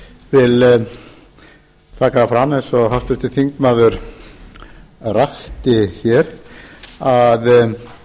taka það fram eins og háttvirtur þingmaður rakti hér að